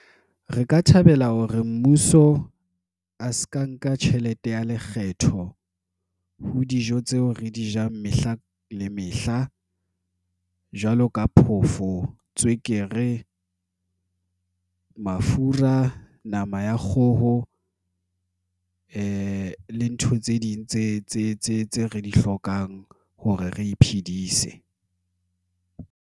Re ka thabela hore mmuso a se ka nka tjhelete ya lekgetho ho dijo tseo re di jang mehla le mehla jwalo ka phofo tswekere, mafura, nama ya kgoho, lea le tse ding tse re di hlokang hore re iphedise.